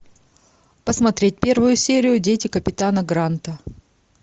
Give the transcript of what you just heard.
посмотреть первую серию дети капитана гранта